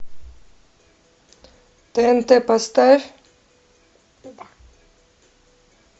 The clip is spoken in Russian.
тнт поставь